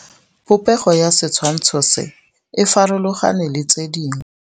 Popêgo ya setshwantshô se, e farologane le tse dingwe.